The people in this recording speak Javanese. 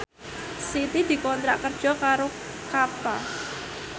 Siti dikontrak kerja karo Kappa